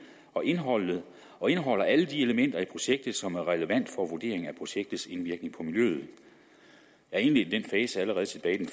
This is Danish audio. og indeholder og indeholder alle de elementer i projektet som er relevante for vurdering af projektets indvirkning på miljøet jeg indledte den fase allerede tilbage den